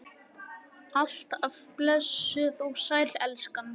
Alt af blessuð og sæl, elskan!